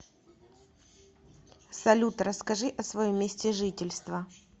салют расскажи о своем месте жительства